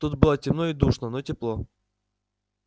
тут было темно и душно но тепло